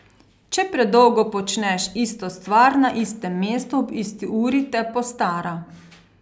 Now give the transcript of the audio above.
Če predolgo počneš isto stvar na istem mestu ob isti uri, te postara.